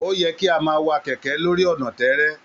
O yẹ kí a máa wá kẹkẹ lórí ọna tẹẹrẹ